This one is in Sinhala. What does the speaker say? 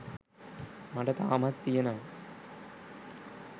මට තාමත් තියෙනවා